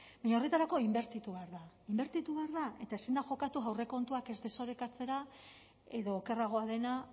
baina horretarako inbertitu behar da inbertitu behar da eta ezin da jokatu aurrekontuak ez desorekatzera edo okerragoa dena